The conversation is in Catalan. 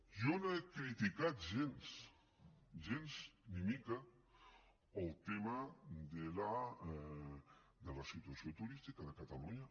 jo no he criticat gens gens ni mica el tema de la situació turística de catalunya